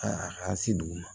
A ka se dugu ma